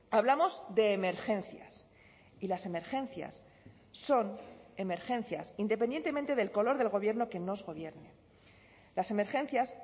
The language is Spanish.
hablamos de emergencias y las emergencias son emergencias independientemente del color del gobierno que nos gobierne las emergencias